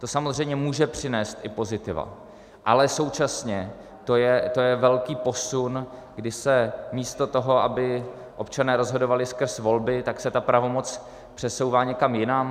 To samozřejmě může přinést i pozitiva, ale současně to je velký posun, kdy se místo toho, aby občané rozhodovali skrz volby, tak se ta pravomoc přesouvá někam jinam.